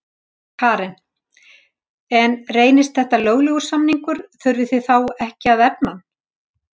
Karen: En reynist þetta löglegur samningur, þurfið þið þá ekki að efna hann?